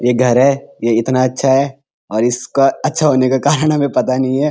ये घर है ये इतना अच्छा है और इसका अच्छा होने का कारण हमे पता नहीं है।